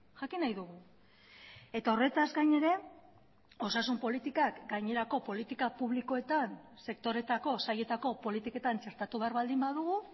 jakin nahi dugu eta horretaz gain ere osasun politikak gainerako politika publikoetan sektoreetako sailetako politiketan txertatu behar baldin badugu